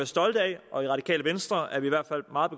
stolte af og i radikale venstre er vi i hvert fald meget